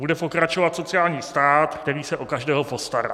Bude pokračovat sociální stát, který se o každého postará.